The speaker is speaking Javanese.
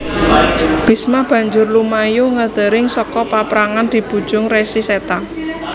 Bisma banjur lumayu nggendring saka paprangan dibujung Resi Seta